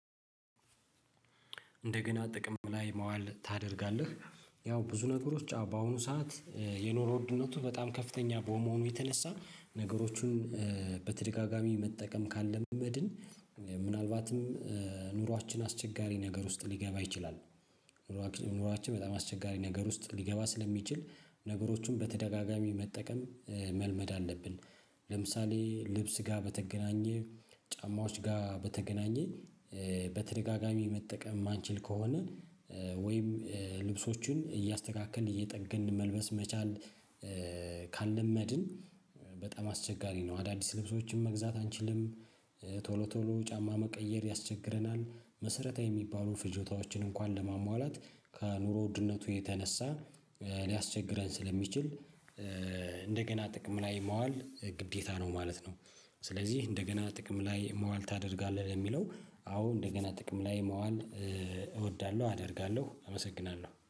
እንደገና ጥቅም ላይ ማዋል ታደርጋለህ? ያው ብዙ ነገሮች በአሁኑ ሰዓት የኑሮ ውድነቱ በጣም ከፍተኛ በመሆኑ የተነሳ ነገሮቹን በተደጋጋሚ መጠቀም ካልመድን ምናልባትም ኑሯችን አስቸጋሪ ነገር ውስጥ ሊገባ ይችላል። ኑሯችን በጣም አስቸጋሪ ነገር ውስጥ ሊገባ ስለሚችል ነገሮችን በተደጋጋሚ መጠቀም መልመድ አለብን። ለምሳሌ ልብስ ጋር በተገናኘ ጫማዎች ጋር በተገናኘ በተደጋጋሚ መጠቀም ማንችል ከሆነ ወይም ልብሶቹን እያስተካከልን እየጠገን መልበስ መቻል። ካልለመድን በጣም አስቸጋሪ ነው አዳዲስ ልብሶችን መግዛት አንችልም። ቶሎ ቶሎ ጫማ መቀየር ያስቸግረናል መሰረታዊ ሚባሉ ፍጆታዎችን እንኳን ለማሟላት ከኑሮ ውድነቱ የተነሳ ሊያስቸግረን ስለሚችል እንደገና ጥቅም ላይ ማዋል ግዴታ ነው ማለት ነው። ስለዚህ እንደገና ጥቅም ላይ ማዋል ታደርጋለህ? የሚለው አዎ እንደገና ጥቅም ላይ መዋል እወዳለሁ አደርጋለሁ። አመሰግናለሁ